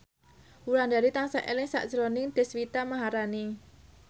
Wulandari tansah eling sakjroning Deswita Maharani